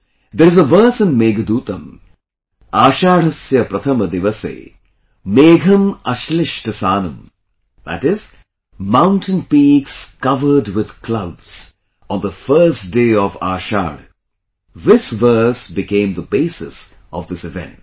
There is a verse in Meghdootam Ashadhasya Pratham Diwase, Megham Ashlishta Sanum, that is, mountain peaks covered with clouds on the first day of Ashadha, this verse became the basis of this event